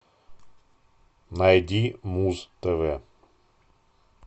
найди муз тв